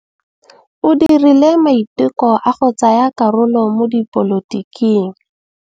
O dirile maitekô a go tsaya karolo mo dipolotiking.